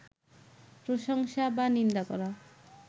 প্রশংসা বা নিন্দা করা